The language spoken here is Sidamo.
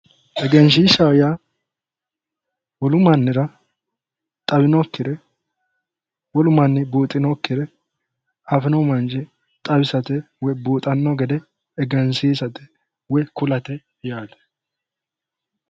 egenshiishshaho yaa wolu mannira xawinokkire wolu manni buuxinokkire afino manchi xawisate woy buuxanno gede egensiisate woy kulate yaate